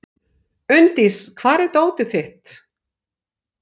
Unndís, hvar er dótið mitt?